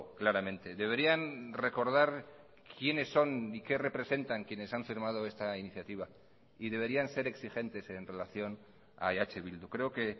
claramente deberían recordar quiénes son y qué representan quienes han firmado esta iniciativa y deberían ser exigentes en relación a eh bildu creo que